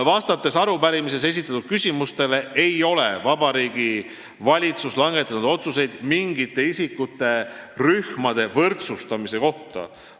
Vastates arupärimises esitatud küsimustele ütlen, et Vabariigi Valitsus ei ole langetanud otsuseid mingite isikurühmade võrdsustamise kohta.